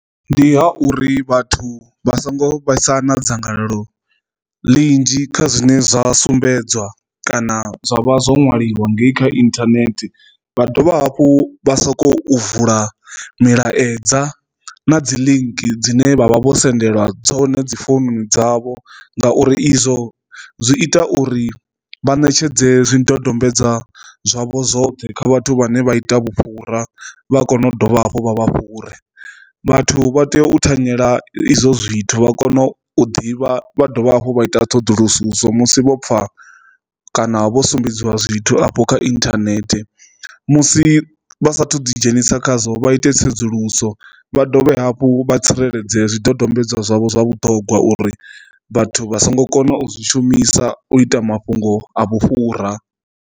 Ndi ha uri vhathu vha songo vhaisa na dzangalelo ḽinzhi kha zwine zwa sumbedzwa kana zwa vha zwo ṅwaliwa ngei kha internet vha dovha hafhu vha sokou vula milaedza na dzi link dzine vha vha vho sendela dzone dzi founu dzavho ngauri izwo zwi ita uri vha ṋetshedze zwidodombedzwa zwavho zwoṱhe kha vhathu vhane vha ita vhufhura vha kone u dovha hafhu vha vha fhure. Vhathu vha tea u thanyela izwo zwithu vha kone u ḓivha vha dovha hafhu vha ita ṱhoḓuluso so musi vho pfa kana vho sumbedziwa zwithu afho kha internet musi vha sathu ḓi dzhenisa khazwo vha ite tsedzuluso vha dovhe hafhu vha tsireledze zwidodombedzwa zwavho zwa vhuṱhogwa uri vhathu vha songo kona u zwi shumisa u ita mafhungo a vhufhura.